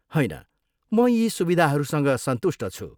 होइन। म यी सुविधाहरूसँग सन्तुष्ट छु।